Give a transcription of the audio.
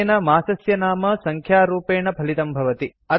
अनेन मासस्य नाम सङ्ख्यारूपेण फलितं भवति